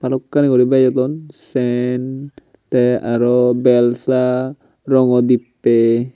balukkani guri bejodon sen tey aro belsa rangaw dibbey.